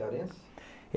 cearense?